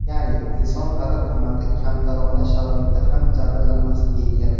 Ya’ni: Inson qadr-qimmati kamtarona sharoitda ham jabrlanmasligi kerak.